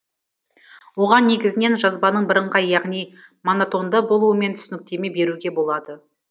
оған негізінен жазбаның біріңғай яғни монотонды болуымен түсініктеме беруге болады